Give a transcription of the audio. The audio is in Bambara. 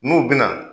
N'u bɛna